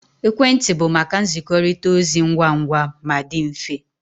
Ekwentị bụ maka nzikọrịta ozi ngwa ngwa ma dị mfe